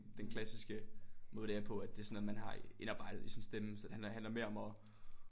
Den klassiske måde det er på at det sådan at man har indarbejdet i sin stemme så den handler mere om at